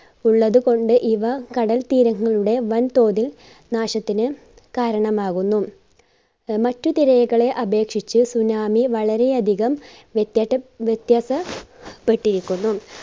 ഉള്ളത് കൊണ്ട് ഇവ കടൽ തീരങ്ങളുടെ വൻ തോതിൽ നാശത്തിന് കാരണമാകുന്നു. മറ്റുതിരകളെ അപേക്ഷിച്ച് tsunami വളരെ അധികം വ്യത്യാസ~വ്യത്യാസ പെട്ടിരിക്കുന്നു.